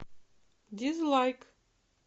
дизлайк